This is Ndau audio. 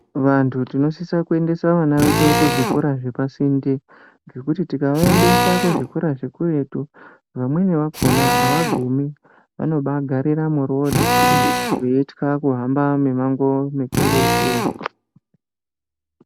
Vantu tinosisa kuendesa vana vedu kuzvikora zvepasinde ngekuti tikavaendesa kuzvikora zvekuretu, vamweni vakhona avagumi vanobagarira murodhi veitya kuhamba mimango mikurutu.